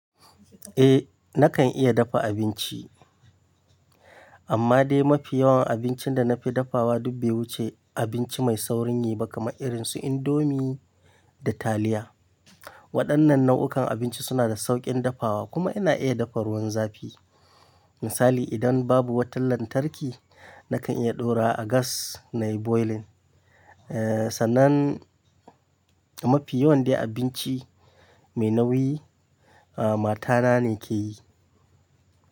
Eh, na kan iya dafa abinci. Amma dai mafi yawan abincin da na fi dafawa duk be wuce abinci mai saurin yi ba kamar irin su indomie da taliya. Waɗannan nau'uka abinci suna da sauƙin dafawa kuma ina iya dafa ruwan zafi. Misali idan babu wata lantarki, na kan iya ɗora a gas nayi boiling. Sannan mafi yawan dai abinci mai nauyi, mata na ne ke yi.